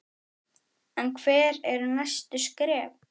En hver eru næstu skref?